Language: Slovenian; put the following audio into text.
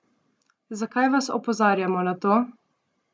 Zakaj vas opozarjamo na to?